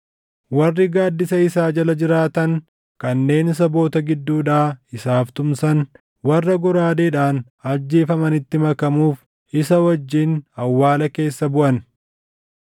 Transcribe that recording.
Warri gaaddisa isaa jala jiraatan kanneen saboota gidduudhaa isaaf tumsan, warra goraadeedhaan ajjeefamanitti makamuuf isa wajjin awwaala keessa buʼan.